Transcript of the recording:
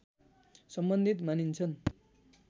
सम्बन्धित मानिन्छन्